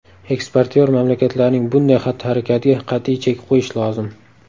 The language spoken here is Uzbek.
Eksportyor mamlakatlarning bunday xatti-harakatiga qat’iy chek qo‘yish lozim.